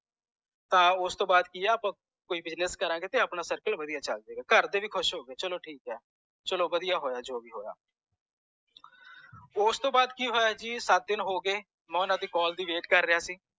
ਤਾਂ ਓਸ ਤੌਂ ਵਾਦ ਕਿ ਅੱਪਾਂ ਕੋਈ business ਕਰਾਂਗੇ ਤੇ ਆਪਣਾ circle ਵਾਦੀਆਂ ਚਲ ਜੇ ਗਾ ਘਰ ਦੇ ਵੀ ਖੁਸ਼ ਹੋਗੇ ਚਲੋ ਠੀਕ ਹੈ ਚਲੋ ਵਾਦੀਆਂ ਹੋਇਆ ਜੋ ਵੀ ਹੋਇਆ ਉਸ ਤੂੰ ਵਾਦ ਕਿ ਹੋਇਆ ਜੀ ਸਤ ਦਿਨ ਹੋਗੇ ਹੋਗੇ ਮੈਂ ਓਹਨਾ ਦੀ call ਦੀ wait ਕਰ ਰਿਹਾ ਸੀ